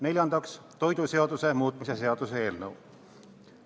Neljandaks, toiduseaduse muutmise seaduse eelnõu.